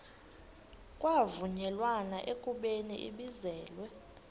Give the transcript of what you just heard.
kwavunyelwana ekubeni ibizelwe